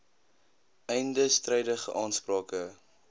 einde strydige aansprake